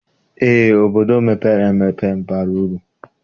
Eé, obodo mepere emepe bara uru.